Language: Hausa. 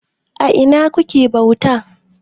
A ina kuke bauta?